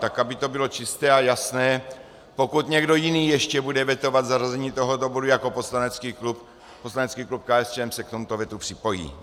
Tak aby to bylo čisté a jasné, pokud někdo jiný ještě bude vetovat zařazení tohoto bodu jako poslanecký klub, poslanecký klub KSČM se k tomuto vetu připojí.